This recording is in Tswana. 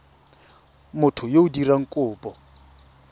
motho yo o dirang kopo